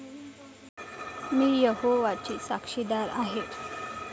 मी यहोवाची साक्षीदार आहे.